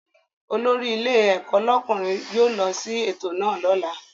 Olórí ilé ẹ̀kọ́ lọ́kùnrin yóò lọ sí ètò lọ́la